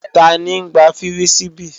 Tani ń gbá fírísíbì?